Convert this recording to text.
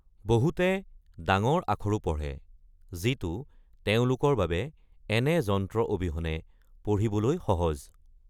বহুতে ডাঙৰ আখৰও পঢ়ে, যিটো তেওঁলোকৰ বাবে এনে যন্ত্ৰ অবিহনে পঢ়িবলৈ সহজ।